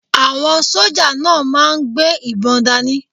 Àwọn sójà náà máà ń gbé ìbọn dáni